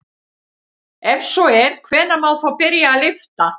Ef svo er hvenær má þá byrja að lyfta?